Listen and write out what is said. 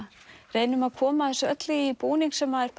reynum að koma þessu öllu í búning sem er